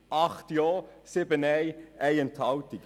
8 Ja- gegen 7 Nein-Stimmen bei 1 Enthaltung.